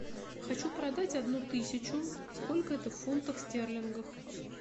хочу продать одну тысячу сколько это в фунтах стерлингов